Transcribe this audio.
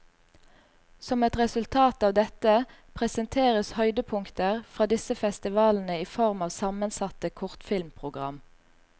Som et resultat av dette, presenteres høydepunkter fra disse festivalene i form av sammensatte kortfilmprogram.